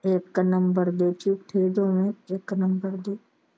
ਇੱਕ ਨੰਬਰ ਦੇ ਝੂਠੇ ਦੋਵੇਂ ਇੱਕ ਨੰਬਰ ਦੇ।